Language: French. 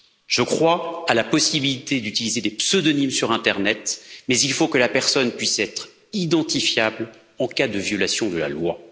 Je crois à la possibilité d'utiliser des pseudonymes sur internet, mais il faut que la personne puisse être identifiable en cas de violation de la loi.